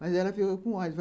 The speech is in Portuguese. Mas ela ficou com ódio.